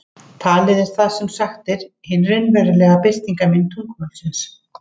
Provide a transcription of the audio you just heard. Talið er það sem sagt er, hin raunverulega birtingarmynd tungumálsins.